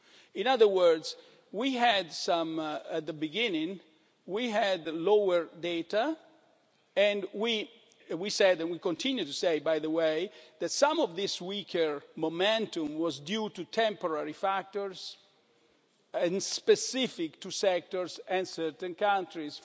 ago. In other words, at the beginning we had lower data and we said and we continue to say, by the way that some of this weaker momentum was due to temporary factors, and specific to sectors and certain countries.